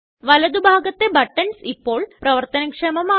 വലതു ഭാഗത്തെ ബട്ടൺസ് ഇപ്പോള് പ്രവര്ത്തനക്ഷമമാണ്